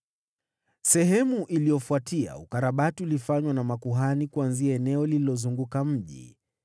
Baada yake, ukarabati ulifanywa na makuhani waliotoka eneo lililouzunguka mji.